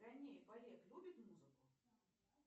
ганеев олег любит музыку